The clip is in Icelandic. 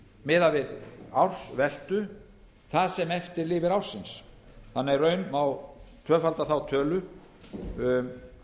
miðað við ársveltu það sem eftir lifir ársins þannig í raun má tvöfalda þá tölu